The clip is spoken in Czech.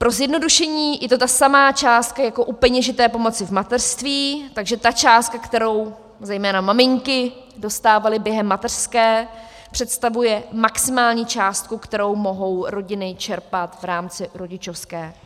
Pro zjednodušení, je to ta samá částka jako u peněžité pomoci v mateřství, takže ta částka, kterou zejména maminky dostávaly během mateřské, představuje maximální částku, kterou mohou rodiny čerpat v rámci rodičovské.